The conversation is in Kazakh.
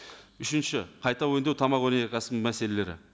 үшінші қайта өңдеу тамақ өнеркәсібінің мәселелері